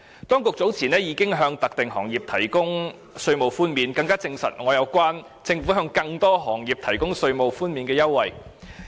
當局早前已向特定行業提供稅務寬免，這更證實我認為政府會向更多行業提供稅務寬免優惠的想法。